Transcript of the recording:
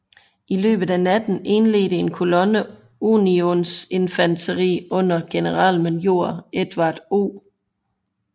I løbet af natten indledte en kolonne unionsinfanteri under generalmajor Edward O